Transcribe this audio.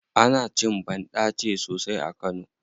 Ana cin banɗace sosai a kano.